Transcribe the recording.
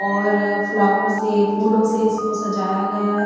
और फ्लावर से फूलों से इसको सजाया गया है।